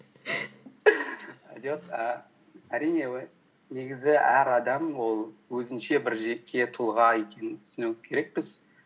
жоқ і әрине негізі әр адам ол өзінше бір жеке тұлға екенін түсіну керекпіз